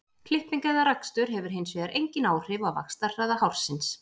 klipping eða rakstur hefur hins vegar engin áhrif á vaxtarhraða hársins